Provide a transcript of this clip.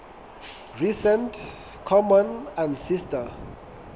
recent common ancestor